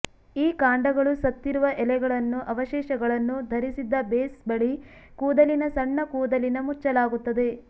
ಈ ಕಾಂಡಗಳು ಸತ್ತಿರುವ ಎಲೆಗಳನ್ನು ಅವಶೇಷಗಳನ್ನು ಧರಿಸಿದ್ದ ಬೇಸ್ ಬಳಿ ಕೂದಲಿನ ಸಣ್ಣ ಕೂದಲಿನ ಮುಚ್ಚಲಾಗುತ್ತದೆ